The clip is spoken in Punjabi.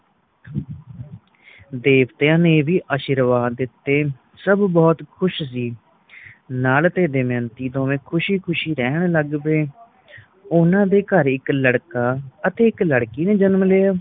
ਦੇਵਤਿਆਂ ਨੇ ਵੀ ਆਸ਼ੀਰਵਾਦ ਦਿੱਤੇ ਸਭ ਬਹੁਤੋ ਖੁਸ਼ ਸੀ ਨੱਲ ਅਤੇ ਦਮਯੰਤੀ ਦੋਵੇ ਖੁਸ਼ੀ ਖੁਸ਼ੀ ਰਹਿਣ ਲੱਗ ਪਏ ਓਹਨਾ ਦੇ ਘਰ ਇਕ ਲੜਕਾ ਅਤੇ ਇਕ ਲੜਕੀ ਨੇ ਜਨਮ ਲਿਆ